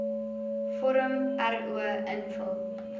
vorm ro invul